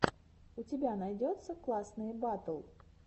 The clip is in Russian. у тебя найдется классные батл